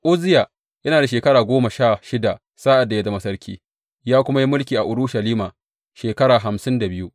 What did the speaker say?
Uzziya yana da shekara goma sha shida sa’ad da ya zama sarki, ya kuma yi mulki a Urushalima shekara hamsin da biyu.